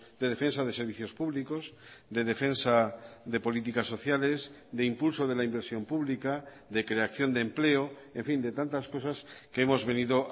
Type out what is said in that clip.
de defensa de servicios públicos de defensa de políticas sociales de impulso de la inversión pública de creación de empleo en fin de tantas cosas que hemos venido